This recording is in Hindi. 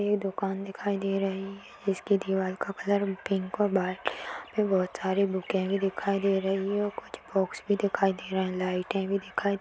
ये दुकान दिखाई दे रही है इसके दीवाल का कलर पिंक और बाहर बहुत सारी बुके भी दिखाई दे रही है कुछ बॉक्स भी दिखाई दे रहे है लाईटे भी दिखाई दे--